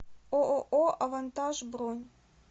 ооо авантаж бронь